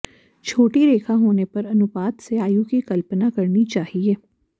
छोटी रेखा होने पर अनुपात से आयु की कल्पना करनी चाहिए